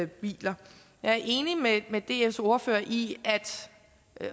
biler jeg er enig med dfs ordfører i